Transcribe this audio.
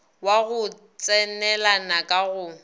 wa go tsenelana ka go